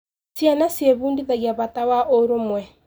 Ciana ciĩbundithagia bata wa ũrũmwe.